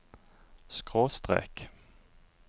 skråstrek